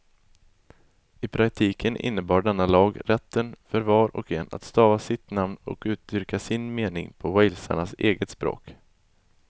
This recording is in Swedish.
I praktiken innebar denna lag rätten för var och en att stava sitt namn och uttrycka sin mening på walesarnas eget språk.